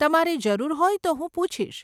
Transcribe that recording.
તમારે જરૂર હોય તો હું પૂછીશ.